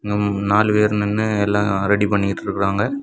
ம் நாலு பேர் நின்னு எல்லா ரெடி பண்ணிட்டுருக்காங்க.